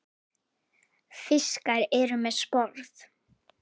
Fiskar eru með sporð.